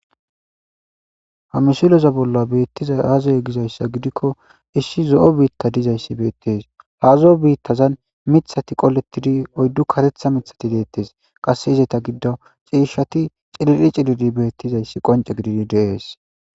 hamisiloza bolla beettiza hazoy gizayssa gidikko issi zo7o biitka dizayssi beettes haazo7o biittazan mithati qolettidi oyddu karetha mithati deettes qasse izeta giddo ciishshati cilidi cilidi beettizayssi qonce gididi deees